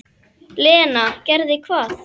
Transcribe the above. Lena: Gerði hvað?